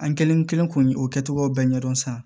An kelen kelen kun o kɛcogoyaw bɛɛ ɲɛdɔn sisan